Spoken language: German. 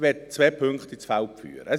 Ich möchte zwei Punkte ins Feld führen.